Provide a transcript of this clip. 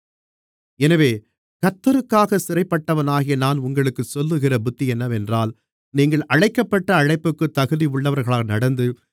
எனவே கர்த்தருக்காக சிறைப்பட்டவனாகிய நான் உங்களுக்குச் சொல்லுகிற புத்தி என்னவென்றால் நீங்கள் அழைக்கப்பட்ட அழைப்புக்குத் தகுதி உள்ளவர்களாக நடந்து